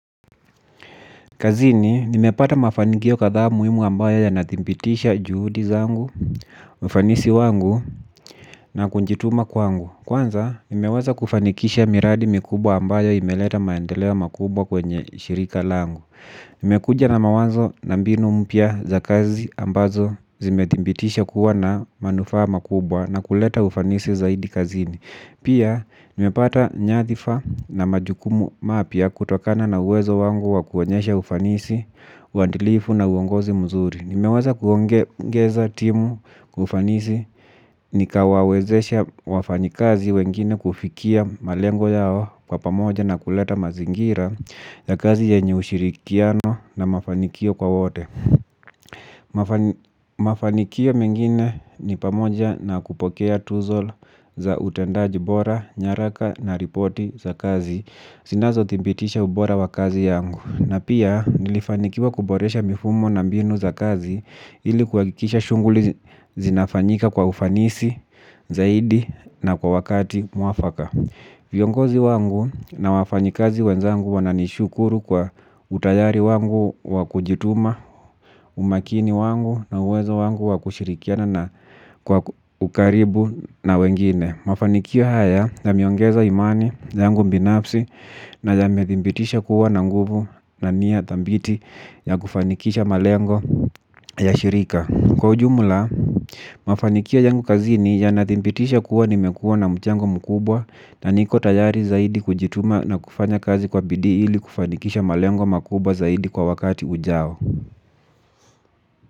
Kazini nimepata mafanikio kadhaa muhimu ambayo yanathibitisha juhudi zangu ufanisi wangu na kujituma kwangu. Kwanza nimeweza kufanikisha miradi mikubwa ambayo imeleta maendeleo makubwa kwenye shirika langu. Nimekuja na mawazo na mbinu mpya za kazi ambazo zimetibitisha kuwa na manufaa makubwa na kuleta ufanisi zaidi kazini. Pia nimepata nyadhifa na majukumu mapya kutokana na uwezo wangu wa kuonyesha ufanisi uadilifu na uongozi mzuri. Nimeweza kuongeza timu kufanisi nikawawezesha wafanyikazi wengine kufikia malengo yao kwa pamoja na kuleta mazingira ya kazi yenye ushirikiano na mafanikio kwa wote. Mafanikio mengine ni pamoja na kupokea tuzo za utendaji bora nyaraka na ripoti za kazi zinazo thibitisha ubora wa kazi yangu na pia nilifanikiwa kuboresha mifumo na mbinu za kazi ili kuhakikisha shughuli zinafanyika kwa ufanisi zaidi na kwa wakati muafaka. Viongozi wangu na wafanyikazi wenzangu wananishukuru kwa utayari wangu wakujituma umakini wangu na uwezo wangu wakushirikiana na kwa ukaribu na wengine mafanikio haya yameongeza imani yangu binafsi na yamethibitisha kuwa na nguvu na nia thabiti ya kufanikisha malengo ya shirika kwa ujumla mafanikio yangu kazini yanathibitisha kuwa nimekuwa na mchango mkubwa na niko tayari zaidi kujituma na kufanya kazi kwa bidii ili kufanikisha malengo makubwa zaidi kwa wakati ujao.